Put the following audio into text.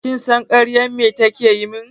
Kin san ƙaryan me ta yi min?